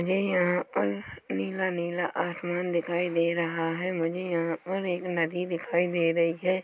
मुझे यहाँ पर नीला नीला आसमान दिखाई दे रहा है मुझे यहाँ पर एक नदी दिखाई दे रही है।